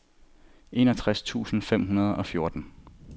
enogtres tusind fem hundrede og fjorten